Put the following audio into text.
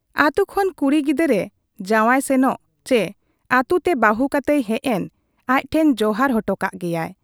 ᱟᱹᱛᱩ ᱠᱷᱚᱱ ᱠᱩᱲᱤ ᱜᱤᱫᱟᱹᱨ ᱮ ᱡᱟᱶᱟᱭ ᱥᱮᱱᱮᱱ ᱪᱤ ᱟᱹᱛᱩ ᱛᱮ ᱵᱟᱹᱦᱩ ᱠᱟᱛᱮᱭ ᱦᱮᱡ ᱮᱱ, ᱟᱡ ᱴᱷᱮᱱ ᱡᱚᱦᱟᱨ ᱚᱴᱚ ᱠᱟᱜ ᱜᱮᱭᱟᱭ ᱾